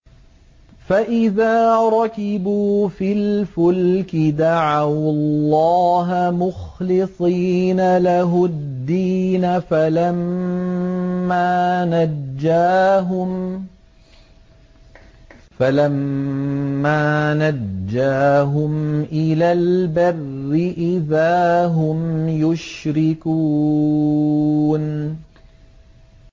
فَإِذَا رَكِبُوا فِي الْفُلْكِ دَعَوُا اللَّهَ مُخْلِصِينَ لَهُ الدِّينَ فَلَمَّا نَجَّاهُمْ إِلَى الْبَرِّ إِذَا هُمْ يُشْرِكُونَ